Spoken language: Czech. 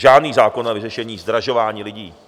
Žádný zákon na vyřešení zdražování lidí.